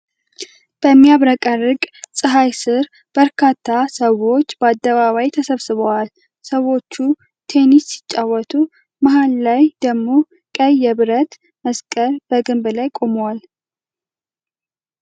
በሚያብረቀርቅ ጸሐይ ስር በርካታ ሰዎች በአደባባይ ተሰብስበዋል። ሰዎች ቴንሲን ሲጫወቱ፣ መሃል ላይ ደግሞ ቀይ የብረት መስቀል በግንብ ላይ ቆሟል ።